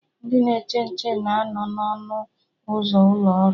Ndị na-eche nche na anọ na ọnụ ụzọ ụlọ ọrụ